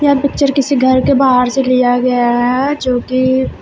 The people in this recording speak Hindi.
यह पिक्चर किसी घर के बाहर से लिया गया है जो की--